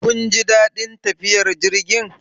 Kun ji daɗin tafiyar jirgin?